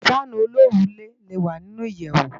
Fànú ólórùlé lé wá ninú iyèwú